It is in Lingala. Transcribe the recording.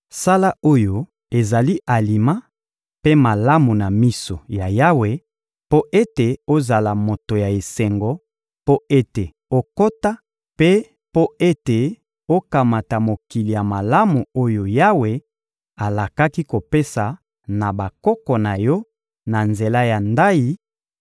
Sala oyo ezali alima mpe malamu na miso ya Yawe, mpo ete ozala moto ya esengo, mpo ete okota, mpe mpo ete okamata mokili ya malamu oyo Yawe alakaki kopesa na bakoko na yo na nzela ya ndayi,